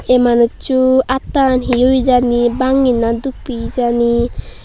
ei manusso atan he oye jani bangey na duppey jani.